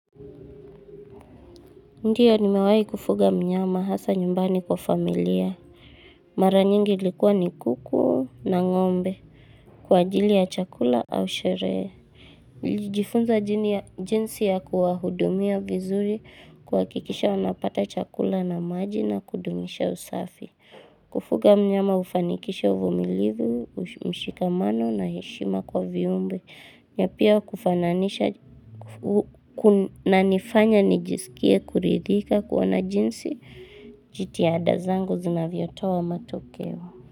Ndiyo nimewahii kufuga mnyama hasa nyumbani kwa familia. Mara nyingi ilikuwa ni kuku na ngombe. Kwa ajili ya chakula au sherehe. Jifunza jinsi ya kuwahudumia vizuri kuhakikisha wanapata chakula na maji na kudumisha usafi. Kufuga mnyama hufanikisha uvumilivu, mshikamano na heshima kwa viumbe. Na pia kufananisha kunanifanya nijisikie kuridhika kuona jinsi jitihada zangu zinavyotoa matokeo.